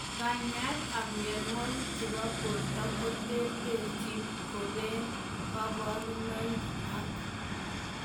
Kanyaet ap mionwogik chepo portoo koterterchin kopee kaparunoik ak